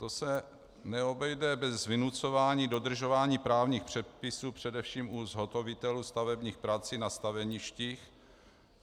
To se neobejde bez vynucování dodržování právních předpisů především u zhotovitelů stavebních prací na staveništích.